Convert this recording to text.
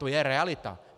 To je realita.